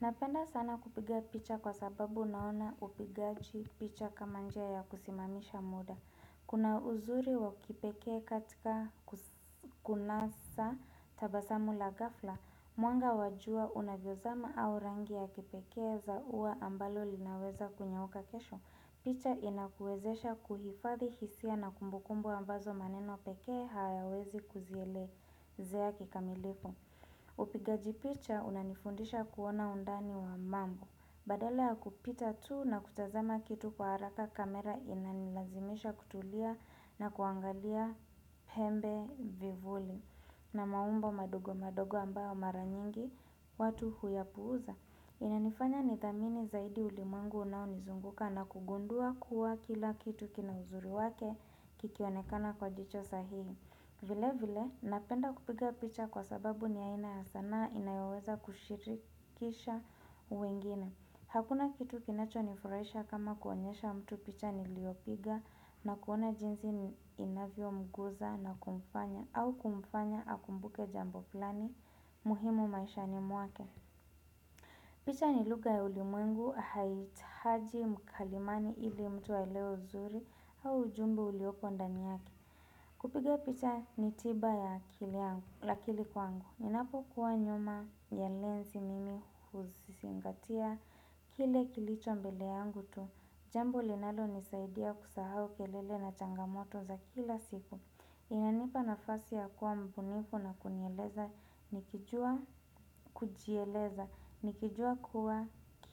Napenda sana kupiga picha kwa sababu naona upigaji picha kama njia ya kusimamisha muda. Kuna uzuri wa kipekee katika kunasa tabasamu la ghafla, mwanga wa jua unavyozama au rangi ya kipekee za ua ambalo linaweza kunyauka kesho. Picha inakuwezesha kuhifadhi hisia na kumbukumbu ambazo maneno peke hayawezi kuzielezea kikamilifu. Upigaji picha unanifundisha kuona undani wa mambo. Badala ya kupita tu na kutazama kitu kwa haraka kamera inanilazimisha kutulia na kuangalia pembe vivuli na maumbo madogo madogo ambayo mara nyingi watu huyapuuza Inanifanya nithamini zaidi ulimwengu unao nizunguka na kugundua kuwa kila kitu kina uzuri wake kikionekana kwa jicho sahihi vile vile, napenda kupiga picha kwa sababu ni aina ya sanaa inayoweza kushirikisha wengine. Hakuna kitu kinacho nifurahisha kama kuonyesha mtu picha niliopiga na kuona jinsi inavyo mguza na kumfanya au kumfanya akumbuke jambo fulani muhimu maishani muake. Picha ni lugha ya ulimwengu haihitahaji mkalimani ili mtu aelewe uzuri au ujumbe uliopo ndani yake. Kupiga picha ni tiba ya akili kwangu. Inapo kuwa nyuma ya lensi mimi huzingatia. Kile kilicho mbele yangu tu. Jambo linalo nisaidia kusahau kelele na changamoto za kila siku. Inanipa nafasi ya kuwa mbunifu na kunieleza. Nikijua kujieleza. Nikijua kuwa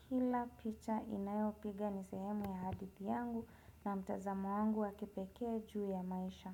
kila picha inayopiga ni sehemu ya hadithii yangu na mtazamo wangu wa kipekee juu ya maisha.